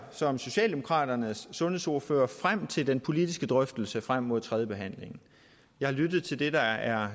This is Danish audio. som socialdemokraternes sundhedsordfører frem til den politiske drøftelse frem mod tredjebehandlingen jeg har lyttet til det der er